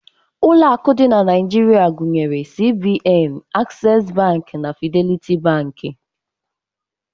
Ụlọ akụ dị na Naijiria gụnyere CBN, Aksesị Bankị na Fideliti Bankị.